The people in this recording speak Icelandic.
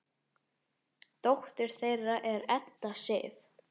Dóttir þeirra er Edda Sif.